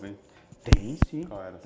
Tem, sim. Qual era?